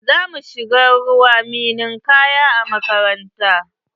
Za mu shiga ruwan ninkaya a makaranta.